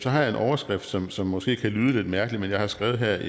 har jeg en overskrift som som måske kan lyde lidt mærkelig men jeg har skrevet her